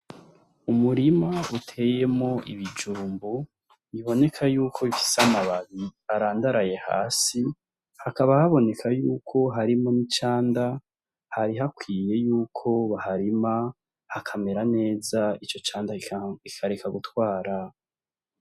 Umurima uteyemwo ibijumbu biboneka yuko bifise amababi arandaraye hasi haka haboneka yuko harimwo n’icanda hari hakwiye yuko baharima hakamera neza ico canda kikareka gutwara.